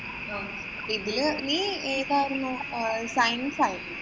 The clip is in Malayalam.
ഇതില് നീ ഏതാരുന്നു. science ആരുന്നു.